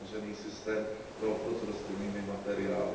uzavřený systém pro obchod s rostlinnými materiály.